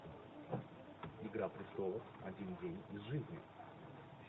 игра престолов один день из жизни